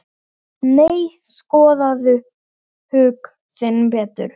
Nei, skoðaðu hug þinn betur.